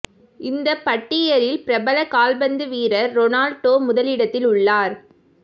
இந்தப் பட்டியலில் பிரபல கால்பந்து வீரர் ரொனால்டோ முதலிடத்தில் உள்ளார்